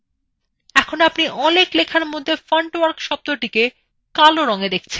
এখন আপনি অনেক লেখার মধ্যে fontwork শব্দটি কালো রংএ দেখে পাচ্ছেন